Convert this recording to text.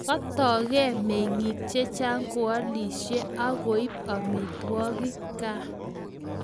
Katoke mengik chechan koalisie akoib amitwokik kaa